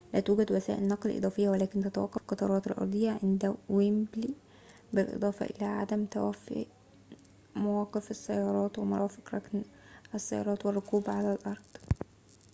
ولا توجد وسائل نقل إضافية ولن تتوقف القطارات الأرضية عند ويمبلي بالإضافة إلى عدم توفى مواقف السيارات ومرافق ركن السيارات والركوب على الأرض